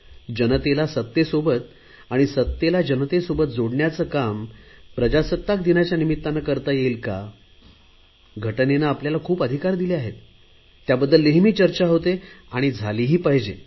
जनतेला सत्तेसोबत आणि सत्तेला जनतेसोबत जोडण्याचे काम प्रजासत्ताक दिनाच्या निमित्ताने करता येईल काय घटनेने आपल्याला खूप अधिकार दिले आहेत त्याबद्दल नेहमी चर्चा होते आणि झाली ही पाहिजे